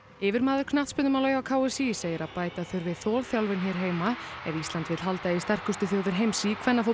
yfirmaður knattspyrnumála hjá k s í segir að bæta þurfi þolþjálfun hér heima ef Ísland vill halda í við sterkustu þjóðir heims í